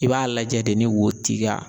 I b'a lajɛ de ni wo t'i ka